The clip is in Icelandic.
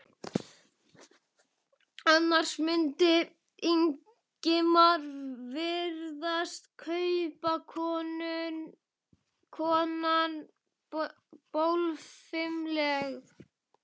Annars mundi Ingimari virðast kaupakonan bólfimleg.